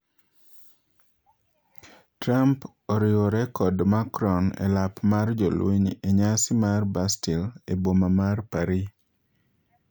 Trump ariwore kod Macron elap mar jolweny enyasi mar Bastille eboma mar Paris.